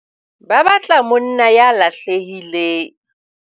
Ba batla monna ya lahlehileng.